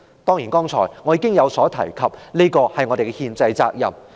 剛才我已提及，這是我們的憲制責任。